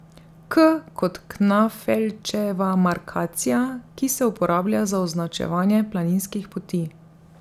K kot Knafelčeva markacija, ki se uporablja za označevanje planinskih poti.